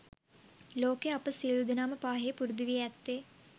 ලෝකයේ අප සියලු දෙනාම පාහේ පුරුදු වී ඇත්තේ